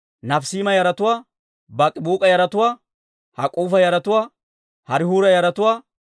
Baak'ibuuk'a yaratuwaa, Hak'uufa yaratuwaa, Harihuura yaratuwaa,